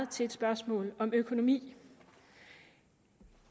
til et spørgsmål om økonomi